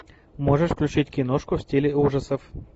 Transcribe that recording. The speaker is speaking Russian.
можешь включить киношку в стиле ужасов